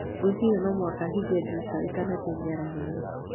Ngwĩciria no mũhaka ndĩhinge ndirica ndĩtanathiĩ mĩaraho ĩno.